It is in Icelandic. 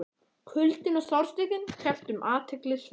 Kuldinn og sársaukinn kepptu um athygli Sveins.